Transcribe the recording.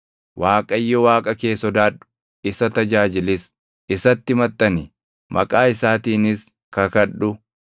Waaqayyo Waaqa kee sodaadhu; isa tajaajilis. Isatti maxxani; maqaa isaatiinis kakadhu.